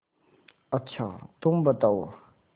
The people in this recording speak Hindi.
अच्छा तुम बताओ